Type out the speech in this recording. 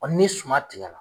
ni suma tigɛra